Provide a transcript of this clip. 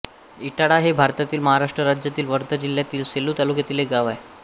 इटाळा हे भारतातील महाराष्ट्र राज्यातील वर्धा जिल्ह्यातील सेलू तालुक्यातील एक गाव आहे